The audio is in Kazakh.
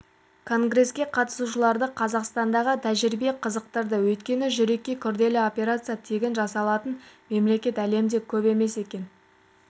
конгреске қатысушыларды қазақстандағы тәжірибе қызықтырды өйткені жүрекке күрделі операция тегін жасалатын мемлекет әлемде көп емес екен